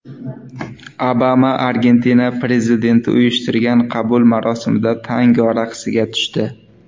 Obama Argentina prezidenti uyushtirgan qabul marosimida tango raqsiga tushdi .